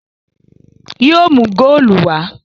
Yóò mú góòlù wá!